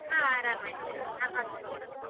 ಹಾ ಆರಾಮ್ ಇದ್ದಾರೆ ನಾನ್ hostel ಅಲ್ಲಿ ಇರೋದು.